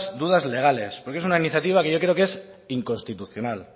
dudas legales porque es una iniciativa que yo creo que es inconstitucional